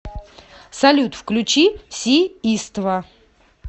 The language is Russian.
салют включи си иства